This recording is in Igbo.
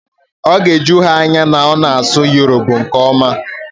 Ọ ga-eju ha anya na ọ na-asụ Urhobo nke ọma